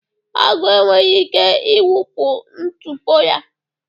Agụ enweghị ike ịwụpụ ntụpọ ya